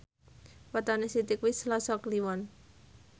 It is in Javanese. wetone Siti kuwi Selasa Kliwon